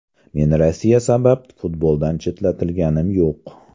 Men Rossiya sabab futboldan chetlatilganim yo‘q.